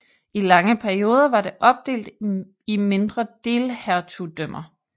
I lange perioder var det opdelt i mindre delhertugdømmer